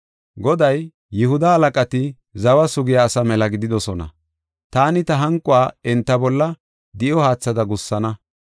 “Goday, ‘Yihuda halaqati zawa sugiya asa mela gididosona; taani ta hanquwa enta bolla di7o haathada gussana.